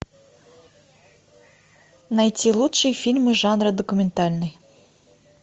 найти лучшие фильмы жанра документальный